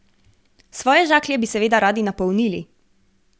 Svoje žaklje bi seveda radi napolnili.